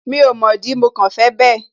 Mi ò mọ̀ dí, mo kàn fẹ bẹ́ẹ̀